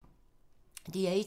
DR1